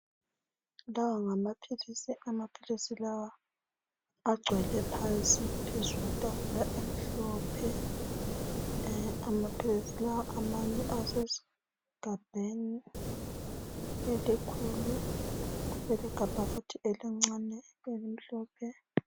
Lawa ngamaphilisi, amaphilisi lawa agcwele phansi phezu kwetafula emhlophe amaphilisi lawa amanye asegabheni elikhulu leli gabha futhi elincane elimhlophe.